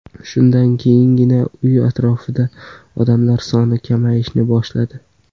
Shundan keyingina uy atrofida odamlar soni kamayishni boshladi.